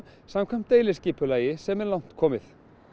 samkvæmt deiliskipulagi sem er langt komið